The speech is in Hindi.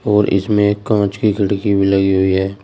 और इसमें कांच की खिड़की भी लगी हुई है।